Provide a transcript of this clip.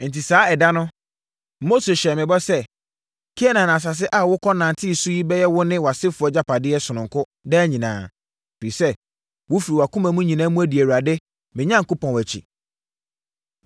Enti saa ɛda no, Mose hyɛɛ me bɔ sɛ, ‘Kanaan asase a wokɔnantee so yi bɛyɛ wo ne wʼasefoɔ agyapadeɛ sononko daa nyinaa, ɛfiri sɛ, wofiri wʼakoma nyinaa mu adi Awurade, me Onyankopɔn akyi.’